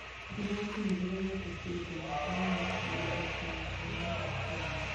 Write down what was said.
Igoti niriregete kũruta mikana ya mihuko ya minyore Kenya.